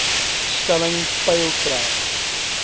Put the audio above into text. stelling peil trek